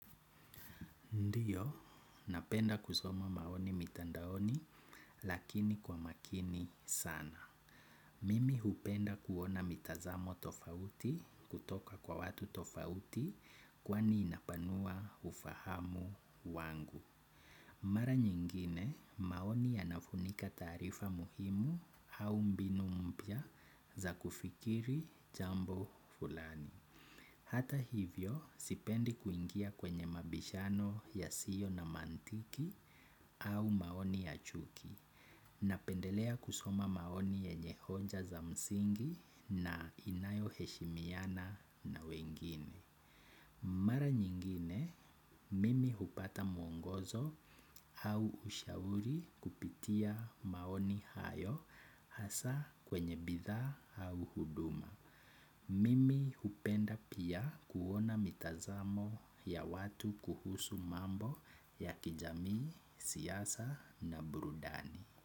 Ndiyo, napenda kusoma maoni mitandaoni lakini kwa makini sana. Mimi hupenda kuona mitazamo tofauti kutoka kwa watu tofauti kwani inapanua ufahamu wangu. Mara nyingine, maoni yanafunika taarifa muhimu au mbinu mpya za kufikiri jambo fulani. Hata hivyo sipendi kuingia kwenye mabishano yasiyo na mantiki au maoni ya chuki napendelea kusoma maoni yenye hoja za msingi na inayoheshimiana na wengine. Mara nyingine mimi hupata mwongozo au ushauri kupitia kwenye maoni hayo hasa kwenye bidhaa au huduma. Mimi hupenda pia kuona mitazamo ya watu kuhusu mambo ya kijamii, siasa na burudani.